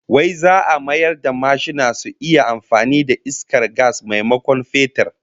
Wai za'a mayar da mashina su iya amfani da iskar gas maimakon fetur?